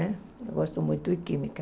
Né eu gosto muito de química.